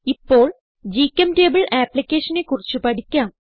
ഇപ്പോൾ ഗ്ചെംറ്റബിൾ ആപ്പ്ളിക്കേഷനെ കുറിച്ച് പഠിക്കാം